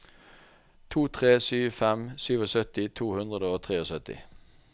to tre sju fem syttisju to hundre og syttitre